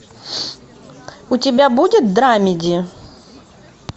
у тебя будет драмеди